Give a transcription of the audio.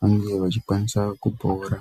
vange vachikwanisa kupora.